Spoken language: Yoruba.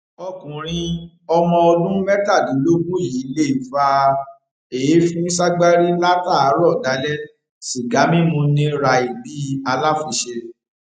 ọkùnrin ọmọọdún mẹtàdínlógún yìí lè fa èéfín ságbárí látààárọ dalẹ sìgá mímu ní ràì bíi aláfiṣe